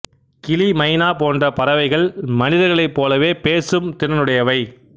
கிளி மைனா போன்ற பறவைகள் மனிதர்களைப் போலவே பேசும் திறனுடையவை